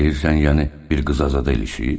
Deyirsən, yəni bir qıza zad eləyib?